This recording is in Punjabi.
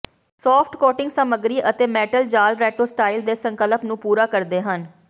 ਸੌਫਟ ਕੋਟਿੰਗ ਸਾਮੱਗਰੀ ਅਤੇ ਮੈਟਲ ਜਾਲ ਰੇਟੋ ਸਟਾਈਲ ਦੇ ਸੰਕਲਪ ਨੂੰ ਪੂਰਾ ਕਰਦੇ ਹਨ